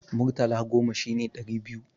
Murtala goma shine ɗari biyu.